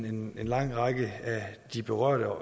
en lang række af de berørte